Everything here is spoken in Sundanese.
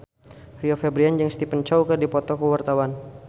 Rio Febrian jeung Stephen Chow keur dipoto ku wartawan